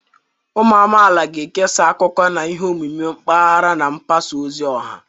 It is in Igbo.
Ụmụ amaala ga-ekesa akụkọ na ihe omume mpaghara na mgbasa ozi ọha.